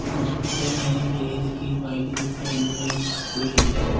Hospital है और ये देखिये एम्बुलेंस खड़ी है। .